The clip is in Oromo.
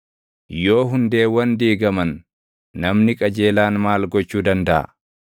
Yoo hundeewwan diigaman, namni qajeelaan maal gochuu dandaʼa?”